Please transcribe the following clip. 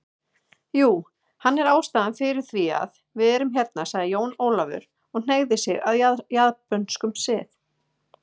Jú, hann er ástæðan fyrir þv´iað við erum hérna sagði Jón Ólafur og hneigði sig að japönskum sið.